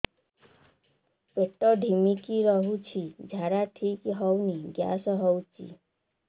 ପେଟ ଢିମିକି ରହୁଛି ଝାଡା ଠିକ୍ ହଉନି ଗ୍ୟାସ ହଉଚି